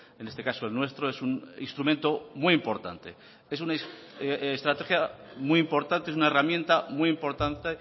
en este caso el nuestro es un instrumento muy importante es una estrategia muy importante es una herramienta muy importante